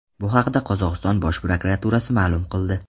Bu haqda Qozog‘iston bosh prokuraturasi ma’lum qildi .